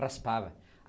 Raspava.